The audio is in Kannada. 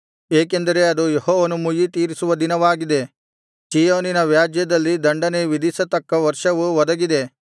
ಏಕೆಂದರೆ ಅದು ಯೆಹೋವನು ಮುಯ್ಯಿತೀರಿಸುವ ದಿನವಾಗಿದೆ ಚೀಯೋನಿನ ವ್ಯಾಜ್ಯದಲ್ಲಿ ದಂಡನೆ ವಿಧಿಸತಕ್ಕ ವರ್ಷವು ಒದಗಿದೆ